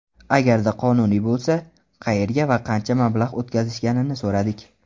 Agarda qonuniy bo‘lsa, qayerga va qancha mablag‘ o‘tkazishganini so‘radik.